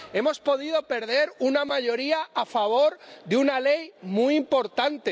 Hemos podido perder una mayoría a favor de una ley muy importante.